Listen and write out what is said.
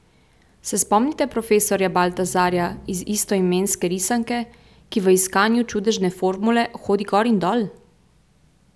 Se spomnite profesorja Baltazarja iz istoimenske risanke, ki v iskanju čudežne formule hodi gor in dol?